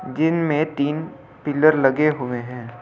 जिनमें तीन पिलर लगे हुए हैं ।